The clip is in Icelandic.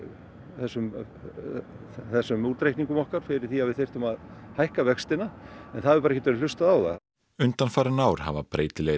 þessum þessum útreikningum okkar fyrir því að við þyrftum að hækka vextina en það hefur ekkert verið hlustað á það undanfarin ár hafa breytilegir